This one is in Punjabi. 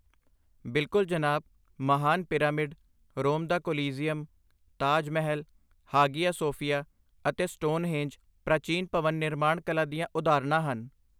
ਬਿਲਕੁਲ, ਜਨਾਬ! ਮਹਾਨ ਪਿਰਾਮਿਡ, ਰੋਮ ਦਾ Colosseum, Taj Mahal, Hagia Sophia ਅਤੇ ਸਟੋਨਹੇਂਜ ਪ੍ਰਾਚੀਨ ਭਵਨ ਨਿਰਮਾਣ ਕਲਾ ਦੀਆਂ ਉਦਾਹਰਣਾਂ ਹਨ।